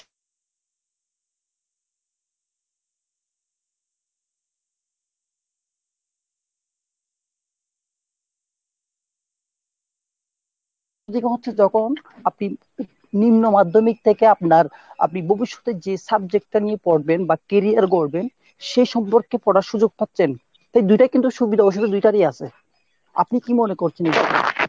যখন আপনি নিম্ন মাধ্যমিক থেকে আপনার আপনি ভবিষ্যতে যে subject টা নিয়ে পড়বেন বা career গড়বেন সে সম্পর্কে পড়ার সুযোগ পাচ্ছেন। তাই দুইটাই কিন্তু সুবিধা অসুবিধা দুইটাই আছে ।আপনি কি মনে করছেন ?